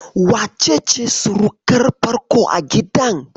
Wa ce ce surukar farko a gidan?